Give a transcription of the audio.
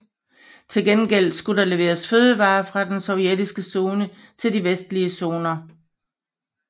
Til gengæld skulle der leveres fødevarer fra den sovjetiske zone til de vestlige zoner